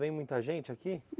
Vem muita gente aqui?